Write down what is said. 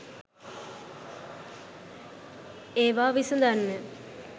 ඒවා විසඳන්න.